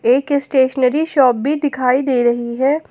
एक stationery shop भी दिखाई दे रही है।